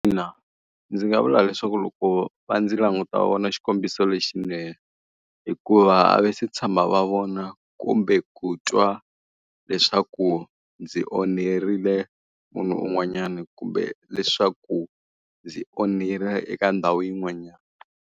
Ndzi nga vula leswaku loko va ndzi languta vona xikombiso lexinene. Hikuva a va se tshama va vona kumbe ku twa leswaku ndzi onherile munhu un'wanyana kumbe leswaku ndzi onhile eka ndhawu yin'wanyana.